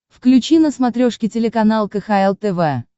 включи на смотрешке телеканал кхл тв